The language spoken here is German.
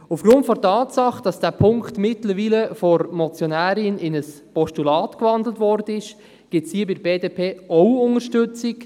Aufgrund der Tatsache, dass dieser Punkt von der Motionärin mittlerweile in ein Postulat gewandelt wurde, gibt es hier von der BDP auch Unterstützung.